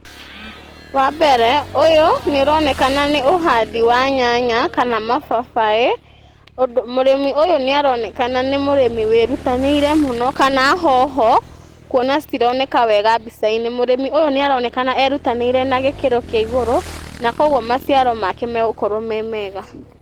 Wambere ũyũ nĩ ũronekana nĩ uhandi wa nyanya kana mababaĩ mũrĩmi ũyũ nĩ aronekana nĩ mũrĩmi wĩrutanĩirie mũno kana hoho kuona citironeka wega mbica-inĩ mũrĩmi ũyũ nĩ aronekana erutanĩirie na gĩkĩro kĩa igũrũ na kwoguo maciaro make magũkorwo me mega.